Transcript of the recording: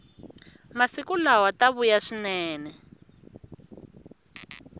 masiku lawa ta vuya swinene